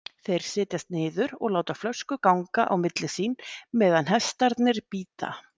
Þeir setjast niður og láta flösku ganga á milli sín meðan hestarnir bíta.